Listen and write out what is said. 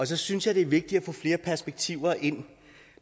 så synes jeg det er vigtigt at få flere perspektiver ind